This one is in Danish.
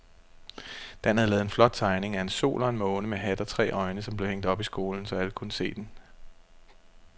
Dan havde lavet en flot tegning af en sol og en måne med hat og tre øjne, som blev hængt op i skolen, så alle kunne se den.